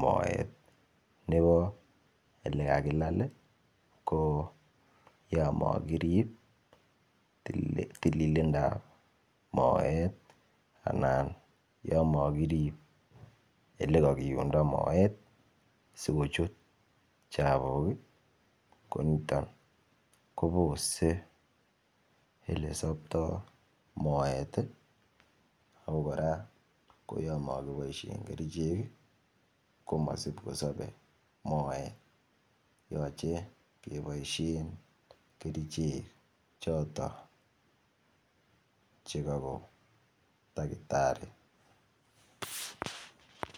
moet nebo olekakilal ii ko Yamat kirib tilindap moet anan yon mo kirib Ole kakiundo moet asi kochut chapuk ko niton kobose Ole sopto moet ii ako kora yon mo kiboisien kerichek komasib kosobe moet yoche keboisien kerichek choton Che kagoon takitari.